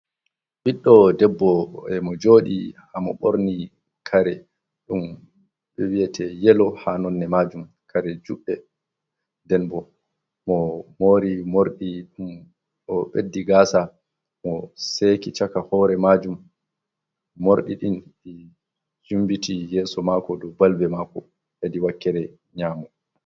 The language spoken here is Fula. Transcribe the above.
Ɓiɗɗo debbo, e mo jooɗi, haa mo boorni kare ɗum ɓe wi'etee yelo haa nonne majum, kare juɗɗe, nden bo mo moori moorɗi, mo ɓeddii gaasa, mo seeki caka hoore maajum, morɗi ɗin yumbiti yeso mako dow balbe maako hedi wakkere nyaamo.